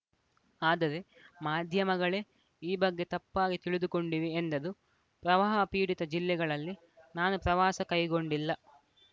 ಆದರೆ ಮಾಧ್ಯಮಗಳೇ ಈ ಬಗ್ಗೆ ತಪ್ಪಾಗಿ ತಿಳಿದುಕೊಂಡಿವೆ ಎಂದರು ಪ್ರವಾಹ ಪೀಡಿತ ಜಿಲ್ಲೆಗಳಲ್ಲಿ ನಾನು ಪ್ರವಾಸ ಕೈಗೊಂಡಿಲ್ಲ